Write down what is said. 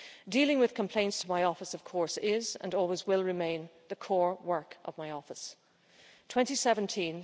Dealing with complaints to my office, of course, is, and always will remain, the core work of my office. 2017